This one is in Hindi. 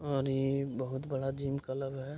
और इ बहुत बड़ा जिम क्लब है।